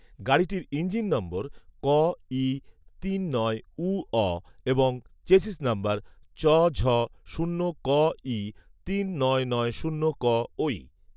গাড়িটির engine number কঈ তিন নয় ঊঅ এবং চেসিস নম্বর চঝ শূন্য কঈ তিন নয় নয় শূন্য কঐ